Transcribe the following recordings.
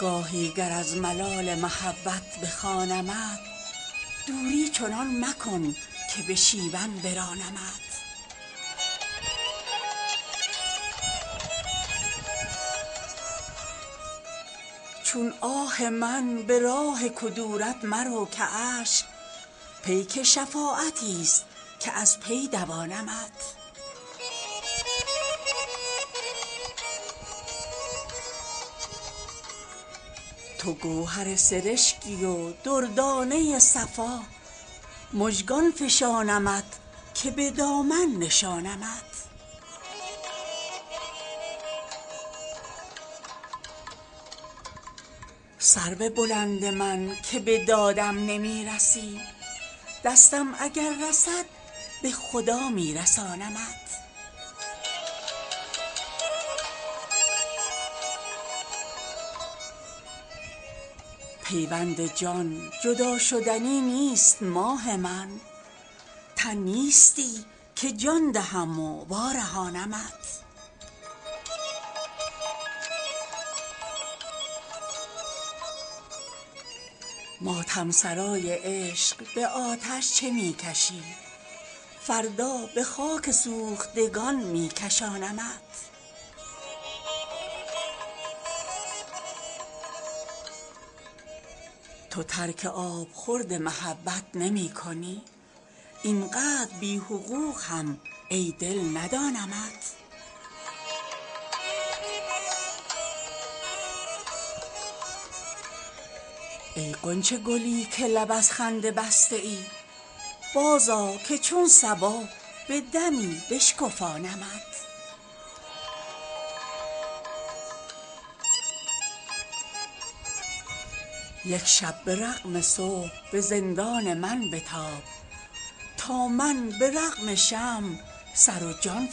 گاهی گر از ملال محبت بخوانمت دوری چنان مکن که به شیون برانمت چون آه من به راه کدورت مرو که اشک پیک شفاعتی ست که از پی دوانمت تو گوهر سرشکی و دردانه صفا مژگان فشانمت که به دامن نشانمت سرو بلند من که به دادم نمی رسی دستم اگر رسد به خدا می رسانمت پیوند جان جداشدنی نیست ماه من تن نیستی که جان دهم و وارهانمت ماتم سرای عشق به آتش چه می کشی فردا به خاک سوختگان می کشانمت دست نوازشی به سر و گوش من بکش سازی شدی که شور و نوایی بخوانمت تو ترک آبخورد محبت نمی کنی اینقدر بی حقوق هم ای دل ندانمت ای غنچه گلی که لب از خنده بسته ای بازآ که چون صبا به دمی بشکفانمت یک شب به رغم صبح به زندان من بتاب تا من به رغم شمع سر و جان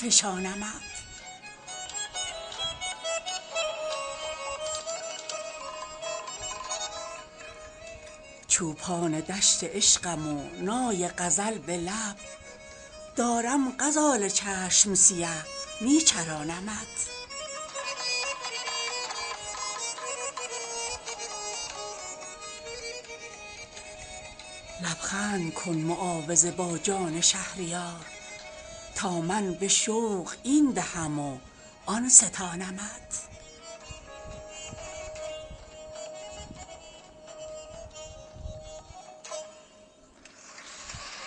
فشانمت چوپان دشت عشقم و نای غزل به لب دارم غزال چشم سیه می چرانمت لبخند کن معاوضه با جان شهریار تا من به شوق این دهم و آن ستانمت